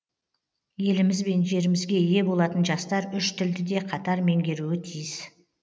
еліміз бен жерімізге ие болатын жастар үш тілді де қатар меңгеруі тиіс